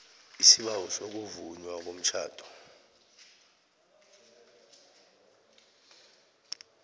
isibawo sokuvunywa komtjhado